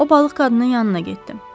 O balıq qadının yanına getdi.